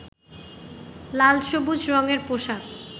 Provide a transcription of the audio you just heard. লাল-সবুজ রঙের পোশাক